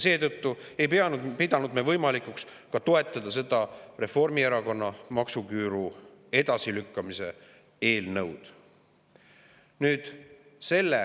Seetõttu ei pidanud me võimalikuks toetada ka seda Reformierakonna maksuküüru edasilükkamise eelnõu.